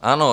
Ano.